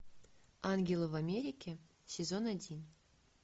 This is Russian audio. ангелы в америке сезон один